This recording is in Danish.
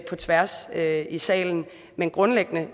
tværs af salen men grundlæggende